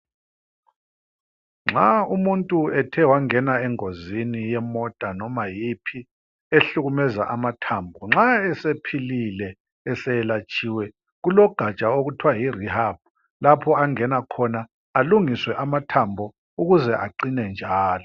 Nxa umuntu ethe wangena engozini yemota noma yiphi ehlukumeza amathambo. Nxa esephilile, eselatshiwe, kulo gaja okuthiwa yirihabhu lapho angena khona alungiswe amathambo ukuze aqine njalo.